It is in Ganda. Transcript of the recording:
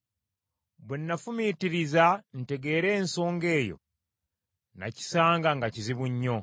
Bwe nafumiitiriza ntegeere ensonga eyo; nakisanga nga kizibu nnyo,